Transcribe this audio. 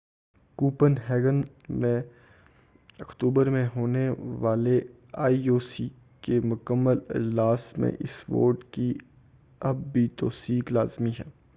coupon ہیگن میں اکتوبر میں ہونے والے آئی او سی کے مکمل اجلاس میں اس ووٹ کی اب بھی توثیق لازمی ہے